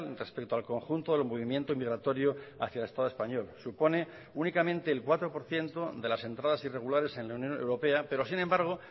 respecto al conjunto del movimiento migratorio hacia el estado español supone únicamente el cuatro por ciento de las entradas irregulares en la unión europea pero sin embargo